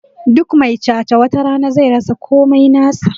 Duk mai cha-cha watarana zai rasa komai nasa